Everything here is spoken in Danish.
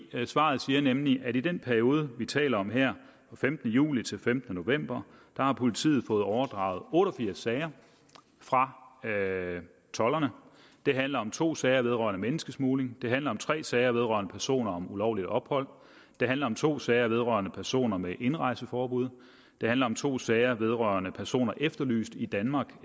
svaret siger nemlig at i den periode vi taler om her fra femtende juli til femtende november har politiet fået overdraget otte og firs sager fra tolderne det handler om to sager vedrørende menneskesmugling det handler om tre sager vedrørende personer om ulovligt ophold det handler om to sager vedrørende personer med indrejseforbud det handler om to sager vedrørende personer efterlyst i danmark